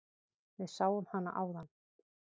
Við sáum hana áðan.